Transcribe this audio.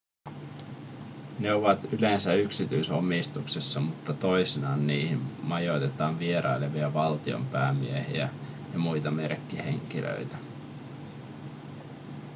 ne ovat yleensä yksityisomistuksessa mutta toisinaan niihin majoitetaan vierailevia valtionpäämiehiä ja muita merkkihenkilöitä